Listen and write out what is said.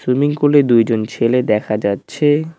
Swimming পুলে দুইজন ছেলে দেখা যাচ্ছে।